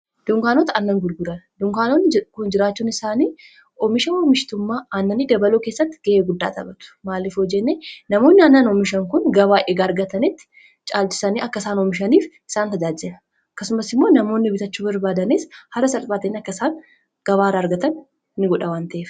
dunkaanota annan gulgura dunkaanonni kun jiraachuun isaanii oomisha omishitummaa aananni dabaluu keessatti ga'ee guddaa taphatu maalif hoo jenne namoonni aanan oomishan kun gabaa egaa argatanitti caalchisanii akka isaan oomishaniif isaan tajaaja'a akkasumas immoo namoonni bitachuu barbaadanis hara salphaa ta'een akka isaan gabaarraa argatan ni godha wan ta'ef